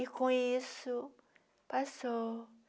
E com isso, passou